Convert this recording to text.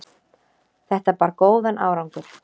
þetta bar góðan árangur